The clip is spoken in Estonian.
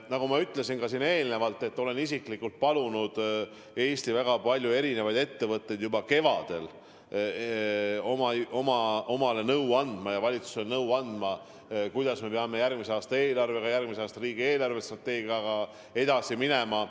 Nagu ma enne juba ütlesin: ma olen isiklikult palunud Eesti väga erinevaid ettevõtteid juba kevadel omale nõu andma ja kogu valitsusele nõu andma, kuidas me peame järgmise aasta eelarvega, järgmise aasta riigi eelarvestrateegiaga edasi minema.